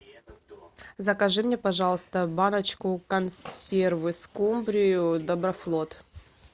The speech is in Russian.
закажи мне пожалуйста баночку консервы скумбрию доброфлот